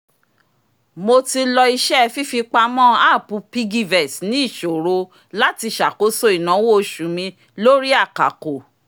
mo ti lo iṣẹ́ fífipamọ́ app piggyvest ní ìṣòro láti ṣàkóso ináwó oṣù mi lórí àkàkò